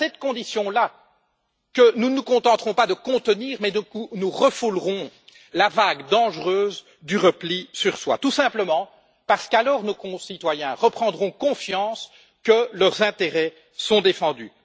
C'est à cette condition là que nous ne nous contenterons pas de contenir, mais que nous refoulerons la vague dangereuse du repli sur soi, parce qu'alors, nos concitoyens reprendront confiance, certains que leurs intérêts sont défendus.